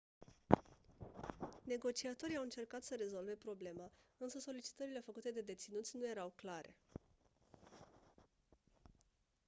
negociatorii au încercat să rezolve problema însă solicitările făcute de deținuți nu erau clare